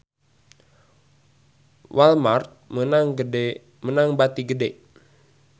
Walmart meunang bati gede